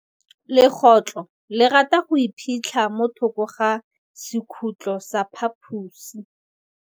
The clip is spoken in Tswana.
Legôtlô le rata go iphitlha mo thokô ga sekhutlo sa phaposi.